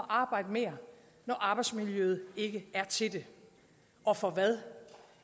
arbejde mere når arbejdsmiljøet ikke er til det og for hvad